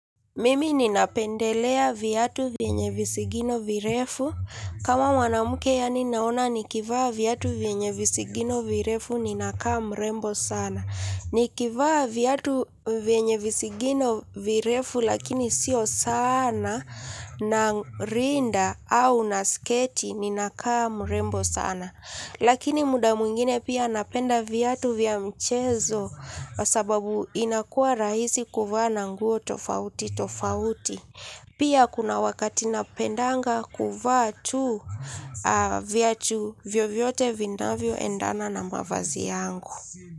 Mimi ninapendelea viatu vyenye visigino virefu. Kama mwanamke yaani naona nikivaa viatu vyenye visigino virefu ninakaa mrembo sana. Nikivaa viatu vyenye visigino virefu lakini sio sana na rinda au na sketi ninakaa mrembo sana. Lakini muda mwingine pia napenda viatu vya mchezo sababu inakuwa rahisi kuvaa na nguo tofauti tofauti. Pia kuna wakati napendanga kuvaa tu viatu vyo vyote vina vyo endana na mavazi yangu.